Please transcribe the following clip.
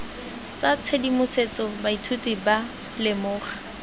tsa tshedimosetso baithuti ba lemoga